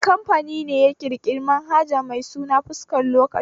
Wani kamfani ne ya ƙirƙiri manhaja mai suna fuskar lokaci?